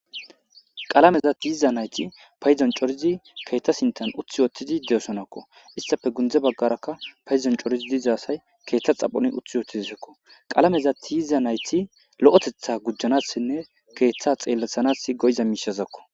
Qalameza tiyiza nayti paydon cori utti uttidi keetha sintha coridi doosonako hesape gunde bagaraka paydon coridi diza asay keetha garden utti uttidesiko qalameza tiyiza nayti lo'otetha gujanasinne keetha xeelethanasi koyiza miishazako.